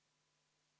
Lauri Laats, palun!